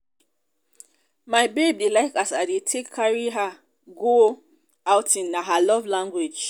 my babe dey like as i dey take carry her go outing na her love language.